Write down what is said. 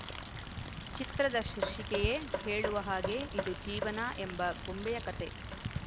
ಚಿತ್ರದ ಶೀರ್ಷಿಕೆಯೇ ಹೇಳುವ ಹಾಗೆ ಇದು ಜೀವನ ಎಂಬ ಗೊಂಬೆಯ ಕತೆ